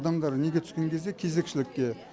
адамдар неге түскен кезде кезекшілікке